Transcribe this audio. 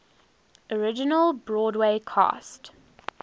original broadway cast